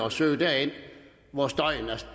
at søge derind hvor støjen